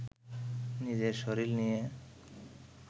নিজের শরীর নিয়ে